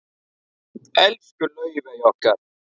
Elsku Laufey okkar.